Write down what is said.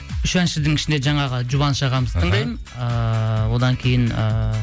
үш әншінің ішінде жаңағы жұбаныш ағамызды тыңдаймын ыыы одан кейін ыыы